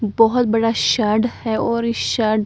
बहोत बड़ा है और इस --